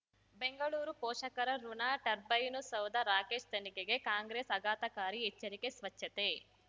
ಬೆಂಗಳೂರು ಪೋಷಕರಋಣ ಟರ್ಬೈನು ಸೌಧ ರಾಕೇಶ್ ತನಿಖೆಗೆ ಕಾಂಗ್ರೆಸ್ ಆಘಾತಕಾರಿ ಎಚ್ಚರಿಕೆ ಸ್ವಚ್ಛತೆ